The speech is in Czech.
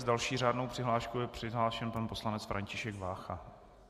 S další řádnou přihláškou je přihlášen pan poslanec František Vácha.